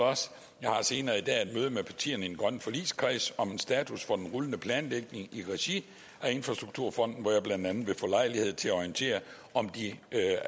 senere i dag et møde med partierne i den grønne forligskreds om en status for den rullende planlægning i regi af infrastrukturfonden hvor jeg blandt andet vil få lejlighed til at orientere om de